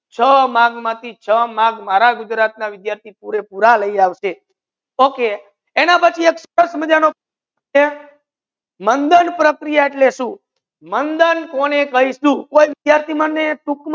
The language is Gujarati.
છ marks મા થી છ marks મારા ગુજરાતી વિદ્યાર્થિ શુદ્ધ પુરા લાય આવસે okay સરસ છે